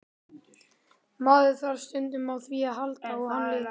Maður þarf stundum á því að halda og hann líka.